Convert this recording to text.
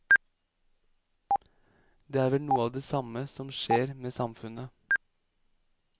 Det er vel noe av det samme som skjer med samfunnet.